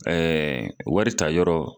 waritayɔrɔ